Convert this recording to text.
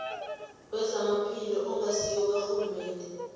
wezamaphilo ongasiwo karhulumende